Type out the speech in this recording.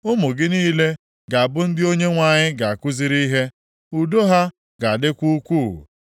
Ụmụ gị niile ga-abụ ndị Onyenwe anyị ga-akụziri ihe. Udo ha ga-adịkwa ukwu.